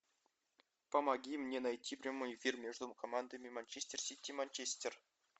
помоги мне найти прямой эфир между командами манчестер сити манчестер